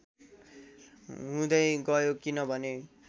हुँदै गयो किनभने